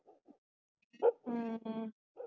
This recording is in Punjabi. ਹੂ